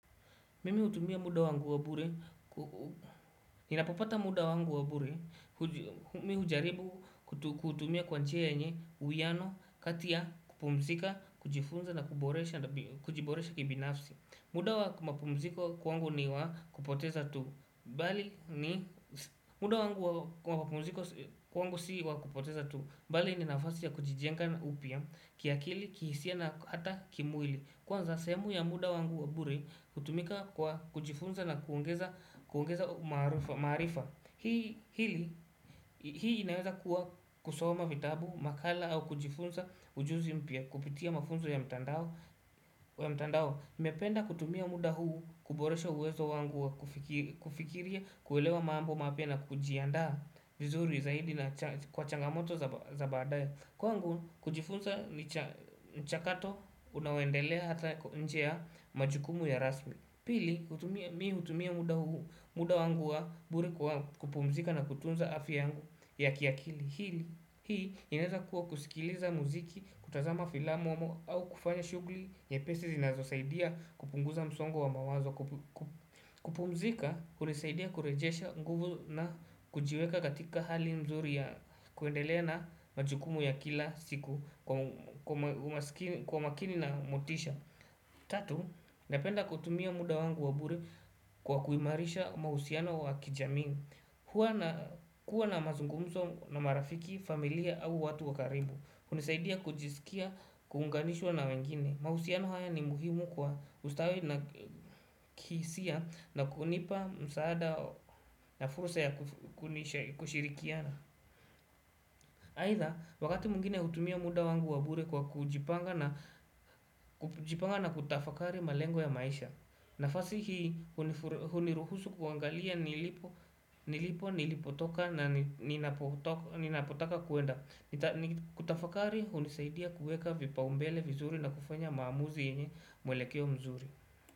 Mimi hutumia muda wangu wa bure, ninapopata muda wangu wa bure, mimi hujaribu kuutumia kwa njia yenye, uwiano, kati ya, kupumzika, kujifunza na kujiboresha kibinafsi. Muda wa mapumziko kwangu si wa kupoteza tu, mbali ni nafasi ya kujijenga upya, kiakili, kihisia na hata kimwili. Kwanza sehemu ya muda wangu wa bure hutumika kwa kujifunza na kuongeza maarifa Hii inaweza kuwa kusoma vitabu, makala au kujifunza ujuzi mpya kupitia mafunzo ya mtandao nimependa kutumia muda huu kuboresha uwezo wangu wa kufikiria, kuelewa mambo mapya na kujiandaa vizuri zaidi na kwa changamoto za baadaya Kwangu kujifunza mchakato unaoendelea hata nje ya majukumu ya rasmi Pili, mimi hutumia muda wangu wa bure wa kupumzika na kutunza afya yangu ya kiakili Hii inaweza kuwa kusikiliza muziki, kutazama filamu au kufanya shughuli nyepesi zinazosaidia kupunguza msongo wa mawazo kupumzika kunasaidia kurejesha nguvu na kujiweka katika hali nzuri ya kuendelea na majukumu ya kila siku kwa makini na motisha Tatu, napenda kutumia muda wangu wa bure kwa kuimarisha mahusiano wa kijamii huwa nakuwa na mazungumzo na marafiki, familia au watu wa karibu hunisaidia kujisikia, kuunganishwa na wengine mahusiano haya ni muhimu kwa ustawi na kihisia na kunipa msaada na fursa ya kushirikiana aidha, wakati mwingine hutumia muda wangu wa bure kwa kujipanga na kutafakari malengo ya maisha nafasi hii, huniruhusu kuangalia nilipo, nilipotoka na ninapotaka kwenda Kutafakari, hunisaidia kuweka vipaumbele vizuri na kufanya maamuzi yenye mwelekeo mzuri.